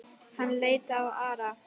Hann leit á Ara.